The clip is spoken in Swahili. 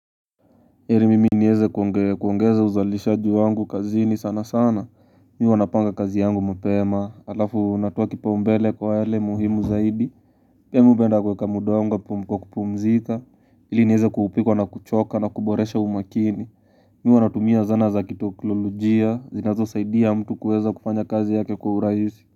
Heri mimi niweze kuongeza uzalishaji wangu kazini sana sana Mimu huwa napanga kazi yangu mapema Alafu natoa kipaombele kwa yale muhimu zaidi Pia mimi hupenda kuweka muda wangu wa kupumzita ili niweze kuupikwa na kuchoka na kuboresha umakini Mimi huwa natumia zana za kiteknolojia zinazosaidia mtu kuweza kufanya kazi yake kwa urahisi.